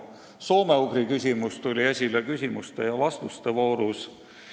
Soome-ugri küsimus tuli esile küsimuste ja vastuste voorus.